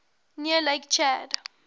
near lake chad